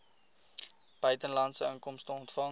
buitelandse inkomste ontvang